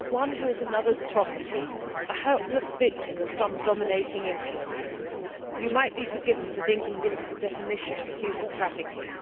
One who is another's property and a helpless victim of some dominating influence you might be forgiven for thinking this is a definition of human trafficking.